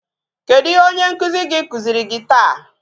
Kedụ ihe onye nkụzi gị kụziri gị taa?